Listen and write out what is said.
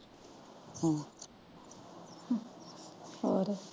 ਹੋਰ?